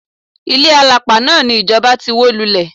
Ilé àlàpà náà ni ìjọba ti wó lulẹ̀.